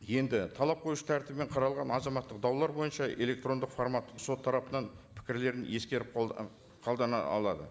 енді талап қоюшы тәртібімен қаралған азаматтық даулар бойынша электрондық формат сот тарапынан пікірлерін ескеріп алады